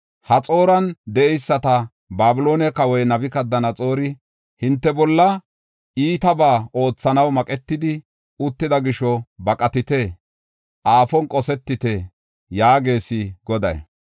Haxooran de7eysato, Babiloone kawoy Nabukadanaxoori hinte bolla iitabaa oothanaw maqetidi uttida gisho, baqatite; aafon qosetite” yaagees Goday.